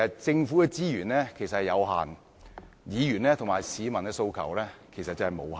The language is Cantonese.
政府的資源有限，議員和市民的訴求則無限。